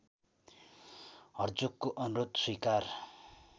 हर्जोगको अनुरोध स्वीकार